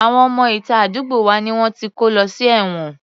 Àwọn ọmọ ìta àdúgbò wa ni wọ́n ti kó lọ sí ẹ̀wọ̀n